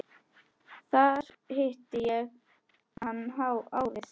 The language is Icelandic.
Þar hitti ég hann árið